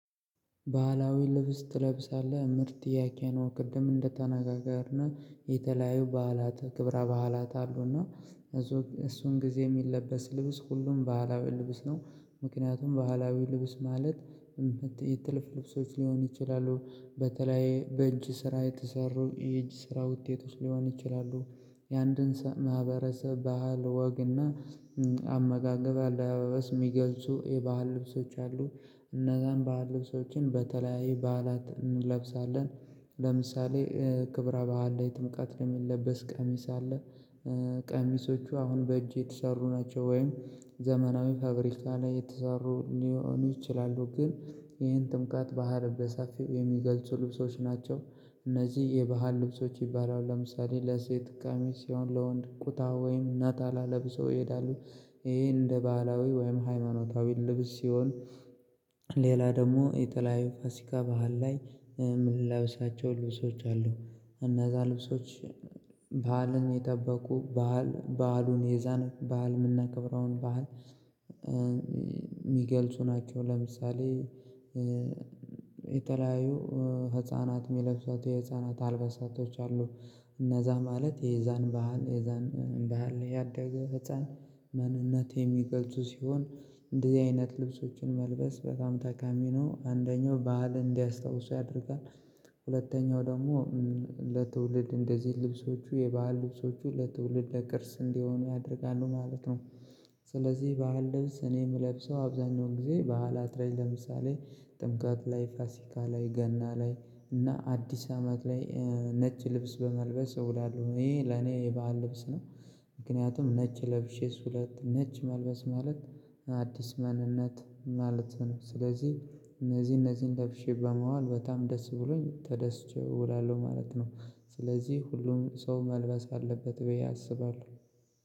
ባህላዊ ልብስ ትለብሳለህ? ምርጥ ጥያቄ ቅድም እንደተነጋገርነው የተለያየ በዓላት ክብራ በዓላት አሉና እሱን ጊዜ የሚለበስ ልብስ ሁሉም ባህላዊ ልብስ ነው ምክንያቱም ባህላዊ ልብስ ማለት ጥልፍልፍ ልብሶች ሊሆን ይችላሉ በተለይ በእጅ ስራ የተሰሩ የእጅ ስራ ውጤቶች ሊሆን ይችላሉ የአንድን ማህበረሰብ ባህል፣ ወግና አመጋገብ አለባበስ የሚገልጹ የባህል ልብሶች አሉ እነዛን ባህል ልብሶችን በተለያዩ በዓላት እንለብሳለን ለምሳሌ ክብረ በዓል ላይ ትምቀት ለሚለበስ ቀሚስ አለ፣ ቀሚሶቹ አሁን በእጅ የተሰሩ ናቸው ወይም ዘመናዊ ፋብሪካ ላይ የተሰሩ ሊሆኑ ይችላሉ ግን ይሄን ትምቀት ባህል በሰፊው የሚገልጹ ልብሶች ናቸው እነዚህ የባህል ልብሶች ይባላሉ ለምሳሌ ለሴት ቀሚስ ሲሆን ለወንድ ቁታ ወይም ነጠላ ለብሰው ይሄዳሉ ይሄ እንደ ባህላዊ ወይም ሃይማኖታዊ ልብስ ሲሆን ሌላ ደግሞ የተለያዩ ፋሲካ ባህል ላይ የምንለብሰው ልብሶች አሉ እና እነዛ ልብሶች ባህልን የጠበቁ ባዓል በዓሉን የዛን በዓል ምናክብራውን በዓል የሚገልጹ ናቸው ለምሳሌ የተለያዩ ህፃናት የሚለብሷቸው የህፃናት አልበሳቶች አሉ እነዛ ማለት የዛን ባህል የዛን ባህል ላይ ያደገ ህፃን ማንነት የሚገልጹ ሲሆን እንደዚህ አይነት ልብሶችን መልበስ በጣም ተቃሚ ነው። አንደኛው ባህልን እንዲያስታውሱ ያደርጋል ሁለተኛው ደግሞ ለትውልድ እንደዚህ ልብሶቹ የባህል ልብሶቹ ለትውልድ ለቅርስ እንዲሆኑ ያደርጋሉ ማለት ነው። ስለዚህ የባህል ድምጽ እኔ የምለብሰው አብዛኛውን ጊዜ በዓላት ላይ ለምሳሌ ጥምቀት ላይ፣ ፋሲካ ላይ፣ ገና ላይ እና አዲስ አመት ላይ ነጭ ልብስ በመልበስ እውላለሁ ይሄ ለኔ የባህል ልብስ ነው ምክንያቱም ነጭ ለብሼ ነጭ መልበስ ማለት አዲስ ማንነት ማለት ነው ስለዚህ እነዚህ እነዚህን ለብሼ በመዋል በጣም ደስ ብሎኝ ተደስቼው እውላለሁ ማለት ነው ስለዚህ ሁሉም ሰው መልበስ አለበት ብዬ አስባለሁ።